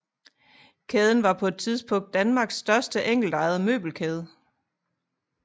Kæden var på et tidspunkt Danmarks største enkeltejede møbelkæde